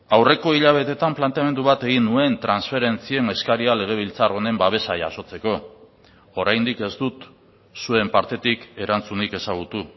aurreko hilabeteetan planteamendu bat egin nuen transferentzien eskaria legebiltzar honen babesa jasotzeko oraindik ez dut zuen partetik erantzunik ezagutu